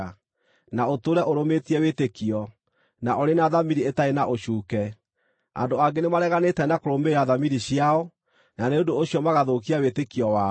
na ũtũũre ũrũmĩtie wĩtĩkio, na ũrĩ na thamiri ĩtarĩ na ũcuuke. Andũ angĩ nĩmareganĩte na kũrũmĩrĩra thamiri ciao, na nĩ ũndũ ũcio magathũkia wĩtĩkio wao.